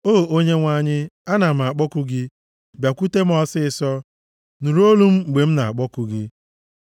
O Onyenwe anyị, ana m akpọku gị; bịakwute m ọsịịsọ. Nụrụ olu m mgbe m na-akpọku gị.